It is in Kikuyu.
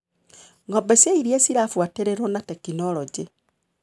Ngombe cia iria cirabuatĩrĩruo na tekinologĩ.